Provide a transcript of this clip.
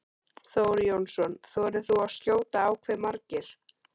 Þór Jónsson: Þorir þú að skjóta á hve margir?